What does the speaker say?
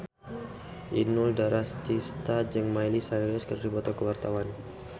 Inul Daratista jeung Miley Cyrus keur dipoto ku wartawan